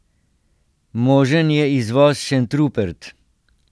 Možen je izvoz Šentrupert.